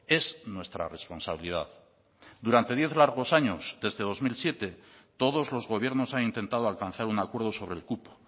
es nuestra responsabilidad durante diez largos años desde dos mil siete todos los gobiernos han intentado alcanzar un acuerdo sobre el cupo